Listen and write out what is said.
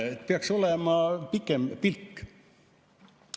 Peaks olema pikem pilk.